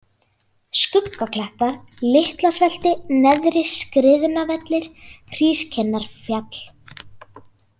Skuggaklettar, Litlasvelti, Neðri-Skriðnavellir, Hrískinnarfjall